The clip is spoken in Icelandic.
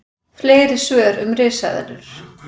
Fleiri svör um risaeðlur: